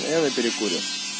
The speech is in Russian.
я на перекуре